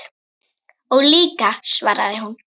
Ég líka, svaraði hún.